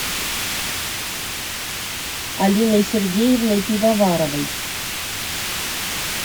алиной сергеевной пивоваровой